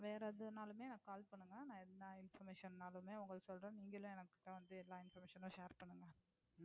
வேற எதுநாலுமே எனக்கு கால் பண்ணுங்க. நான் எந்த information நாலுமே உங்ககிட்ட சொல்லறேன். நீங்களும் என்கிட்ட வந்து எல்லா information யும் share பண்ணுங்க.